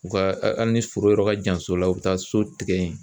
U ka ha hali ni foro yɔrɔ ka jan so la u bɛ taa so tigɛ ye.